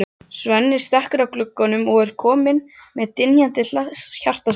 Svenni stekkur að glugganum og er kominn með dynjandi hjartslátt.